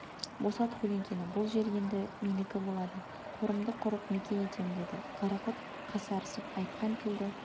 босат көлеңкені бұл жер енді менікі болады торымды құрып мекен етем деді қарақұрт қасарысып айтқан тілді